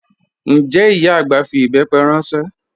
Njẹ́ ìyá agbá fí ìbẹ́pẹ̀ ranṣẹ?